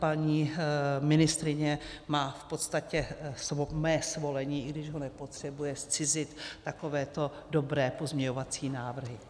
Paní ministryně má v podstatě mé svolení, i když ho nepotřebuje, zcizit takovéto dobré pozměňovací návrhy.